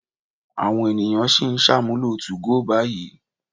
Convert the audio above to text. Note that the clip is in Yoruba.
Àwọn ènìyàn sì ń ṣàmúlò 2go báyìí.